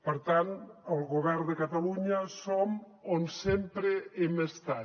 per tant el govern de catalunya som on sempre hem estat